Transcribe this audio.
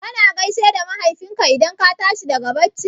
Kana gaishe da Mahaifinka idan ka tashi daga bacci?